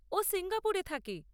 ও সিঙ্গাপুরে থাকে।